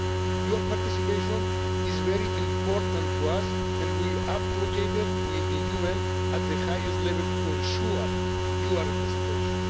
Your participation is very important to us and we advocated with the UN at the highest level to ensure your representation.